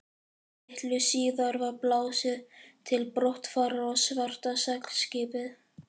Litlu síðar var blásið til brottfarar og svarta seglskipið